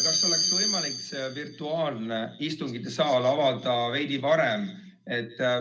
Kas oleks võimalik see virtuaalne istungisaal avada veidi varem?